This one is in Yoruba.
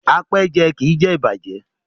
Apẹ́ẹ́jẹ kì í jẹ ìbàjẹ́.